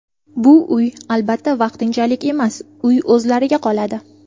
Bu uy, albatta, vaqtinchalik emas, uy o‘zlariga qoladi.